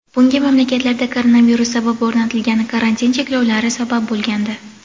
Bunga mamlakatlarda koronavirus sabab o‘rnatilgan karantin cheklovlari sabab bo‘lgandi.